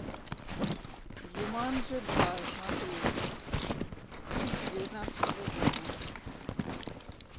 джуманджи два смотреть девятнадцатого года